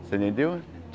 Você entendeu?